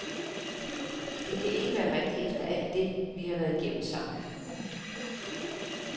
Det kan ikke være rigtigt efter alt det, vi har været igennem sammen.